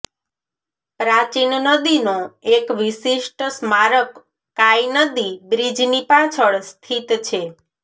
પ્રાચીન નદીનો એક વિશિષ્ટ સ્મારક કાઇ નદી બ્રિજની પાછળ સ્થિત છે